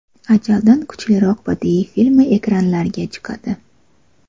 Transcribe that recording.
Ajaldan kuchliroq” badiiy filmi ekranlarga chiqadi.